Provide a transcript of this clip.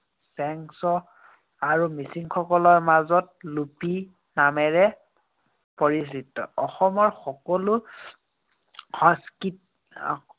চেংছ আৰু মিচিংসকলৰ মাজত লোপি নামেৰে পৰিচিত। অসমত সকলো সাংস্কৃত